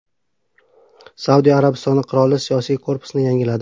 Saudiya Arabistoni qiroli siyosiy korpusni yangiladi.